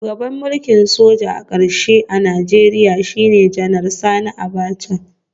Shugaban mulkin soja na karshe a Najeriya shine Janar Sani Abacha